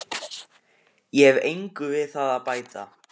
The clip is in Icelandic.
Ég hef engu við það að bæta.